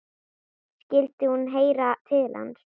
Skyldi hún heyra til hans?